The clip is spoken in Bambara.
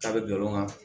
A bɛ jɔ nɔnɔ kan